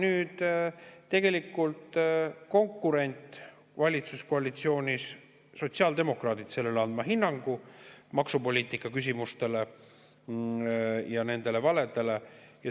Eks nüüd konkurent valitsuskoalitsioonis, sotsiaaldemokraadid, peavad andma hinnangu maksupoliitikaküsimustele ja nendele valedele.